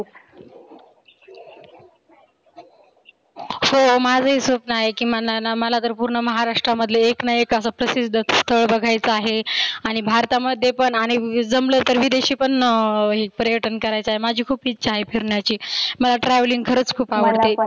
हो माझ ही स्वप्न आहे माझना मला पुर्ण महाराष्ट्रामध्ये एक ना एक असं प्रसिद्ध स्थळ बघायचं आहे. आणि भारतामध्ये पण जमलं तर विदेशी पण अं पर्यटन करायचा आहे. माझी खुप इच्छा आहे फिरण्याची. मला travelling खरच खुप आवडते.